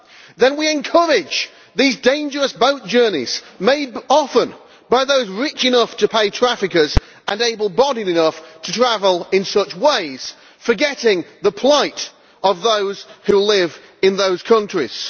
Then we encourage these dangerous boat journeys, made often by those rich enough to pay traffickers and able bodied enough to travel in such ways, forgetting the plight of those who live in those countries?